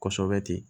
Kosɛbɛ ten